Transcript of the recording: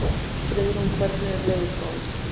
Friðrún, hvernig er veðurspáin?